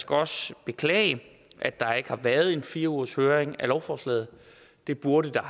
også beklage at der ikke har været en fire ugershøring af lovforslaget det burde der